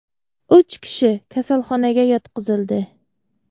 Uch kishi kasalxonaga yotqizildi.